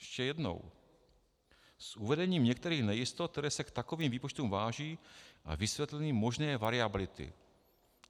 Ještě jednou: s uvedením některých nejistot, které se k takovým výpočtům váží, a vysvětlením možné variability.